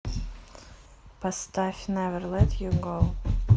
поставь невер лет ю гоу